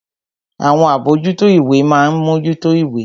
Àwọn àbójútó ìwé ma ń mójútó ìwé